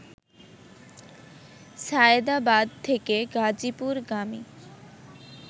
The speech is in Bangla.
সায়েদাবাদ থেকে গাজীপুরগামী